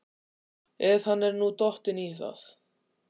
Ef hann er nú dottinn í það?